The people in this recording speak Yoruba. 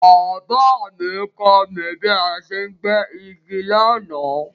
Baba mí kọ́ mí bí a ṣe ń gbẹ́ igi lánàá